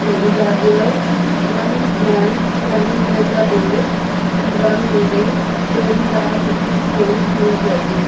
ladies are there one man standing near the door and one lady showing the cooking skill to the judges.